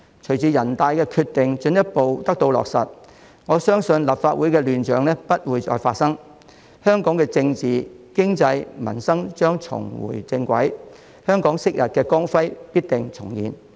隨着人大的決定進一步得到落實，我相信立法會的亂象不會再發生，香港的政治、經濟和民生將重回正軌，香港昔日的光輝必定重現。